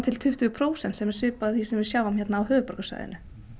tuttugu prósent sem er svipað því sem við sjáum hérna á höfuðborgarsvæðinu